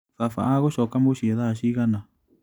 Baba agũcoka mũciĩ thaa cigana?